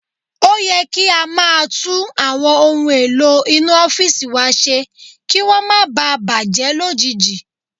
Ó yẹ kí a máa tún àwọn ohun èlò inú ọ́fìsì wa ṣe kí wọ́n máa ba à bàjẹ́ lójijì